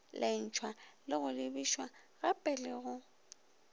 lentshwa go lebišagape le go